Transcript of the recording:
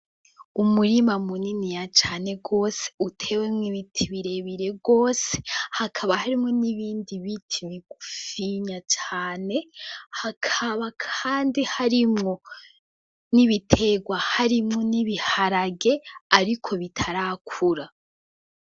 Umurima munini cane gose utewemwo ibiti birebire gose, hakaba harimwo n’ibindi biti bigufinya cane, hakaba kandi harimwo n’ibiterwa harimwo n’ibiharage ariko bitarakura.